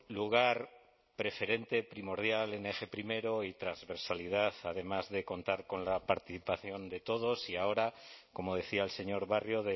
lugar preferente primordial en eje primero y transversalidad además de contar con la participación de todos y ahora como decía el señor barrio